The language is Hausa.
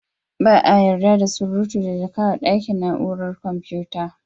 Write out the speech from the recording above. Ba a yarda da surutu da jaka a ɗakin na'urar computa.